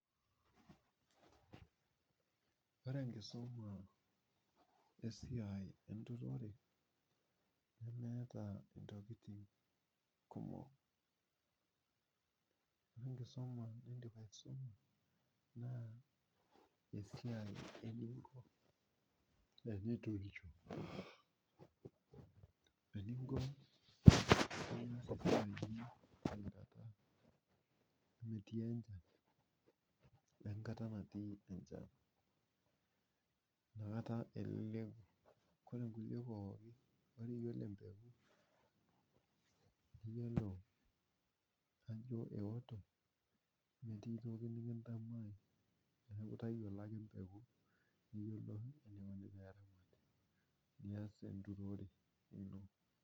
Ore enkisuma wesiai enturore nemeeta ntokitin kumok. Ore enkisuma nindim aisuma na esiai ebiotisho ashu enturisho. Eninko pias esiai ino tenkata natii enchan we nkata nemetii enchan nakata eleleku yiolo nkulie pookin ore iyolo empeku niyolo ajo eoto metii toki nikintanyamal neaku tayiolo ake empeku nias enturore ino.